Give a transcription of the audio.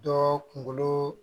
Dɔɔ kunkolo